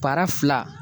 Baara fila